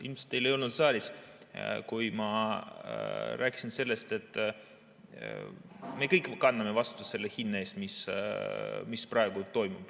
Ilmselt teid ei olnud saalis, kui ma rääkisin sellest, et me kõik kanname vastutust selle hinna eest, mis praegu on.